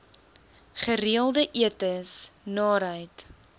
gereelde etes naarheid